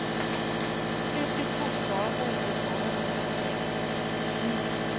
Vilket fortfarande inte sade henne någonting.